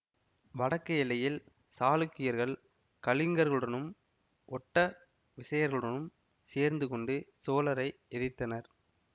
வடக்கு எல்லையில் சாளுக்கியர்கள் கலிங்கர்களுடனும் ஒட்ட விசயர்களுடனும் சேர்ந்துகொண்டு சோழரை எதித்தனர்